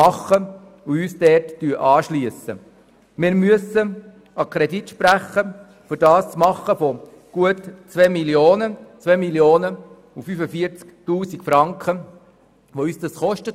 Um das zu realisieren, müssen wir einen Kredit in der Höhe von etwas mehr als 2 Mio. Franken sprechen.